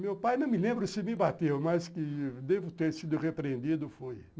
Meu pai, não me lembro se me bateu, mas devo ter sido repreendido, fui.